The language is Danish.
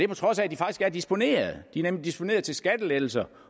på trods af at de faktisk er disponeret de er nemlig disponeret til skattelettelser